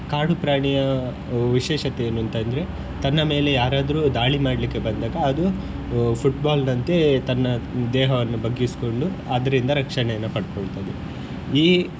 ಕಾಡು ಪ್ರಾಣಿಯ ವಿಶೇಷತೆ ಏನು ಅಂತ ಅಂದ್ರೆ ತನ್ನ ಮೇಲೆ ಯಾರಾದ್ರೂ ದಾಳಿ ಮಾಡ್ಲಿಕ್ಕೆ ಬಂದಾಗ ಅದು Football ನಂತೆ ತನ್ನ ದೇಹವನ್ನು ಬಗ್ಗಿಸ್ಕೊಂಡು ಅದರಿಂದ ರಕ್ಷಣೆಯನ್ನ ಪಡ್ಕೊಳ್ತದೆ ಈ.